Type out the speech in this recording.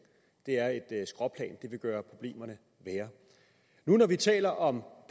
er et skråplan det vil gøre problemerne værre nu når vi taler om